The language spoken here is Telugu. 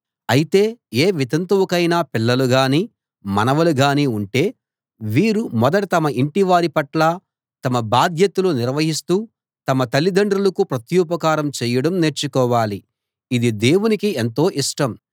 అయితే ఏ వితంతువుకైనా పిల్లలు గాని మనవలు గాని ఉంటే వీరు మొదట తమ ఇంటివారి పట్ల తమ బాధ్యతలు నిర్వర్తిస్తూ తమ తల్లిదండ్రులకు ప్రత్యుపకారం చేయడం నేర్చుకోవాలి ఇది దేవునికి ఎంతో ఇష్టం